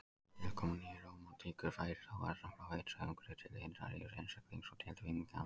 Með tilkomu nýrómantíkur færist áherslan frá ytra umhverfi til innra lífs einstaklingsins og tilfinninga hans.